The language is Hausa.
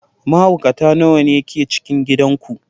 Mahaukata nawa ne ke cikin gidan ku?